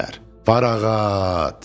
Varağat!